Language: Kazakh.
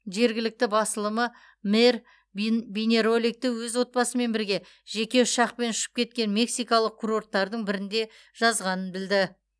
жергілікті басылымы мэр бин бейнероликті өз отбасымен бірге жеке ұшақпен ұшып кеткен мексикалық курорттардың бірінде жазғанын білді